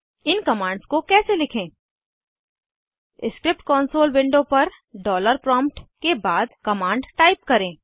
इन commands को कैसे लिखें स्क्रिप्ट कॉन्सोल विंडो पर डॉलर प्रॉम्प्ट के बाद कमांड टाइप करें